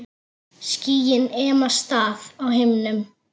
Skýin ema staðar á himnum.